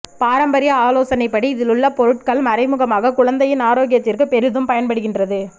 பாரம்பரிய ஆலோசனைப்படி இதிலுள்ள பொருட்கள் மறைமுகமாக குழந்தையின் ஆரோக்கியத்திற்கு பெரிதும் பயன்படுகின்றது